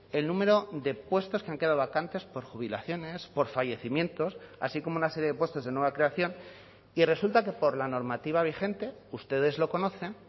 el número de puestos que han quedado vacantes por jubilaciones por fallecimientos así como una serie de puestos de nueva creación y resulta que por la normativa vigente ustedes lo conocen